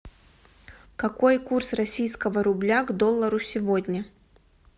какой курс российского рубля к доллару сегодня